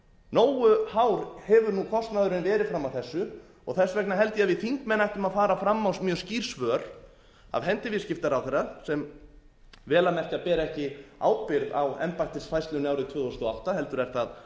nógu hár hefur nú kostnaðurinn verið fram að þessu og þess vegna held að að við þingmenn ættum að fara fram á mjög skýr svör af hendi viðskiptaráðherra sem vel að merkja ber ekki ábyrgð á embættisfærslunni árið tvö þúsund og átta heldur er það